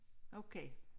Okay